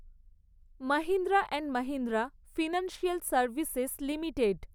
Mahindra and Mahindra financial services limited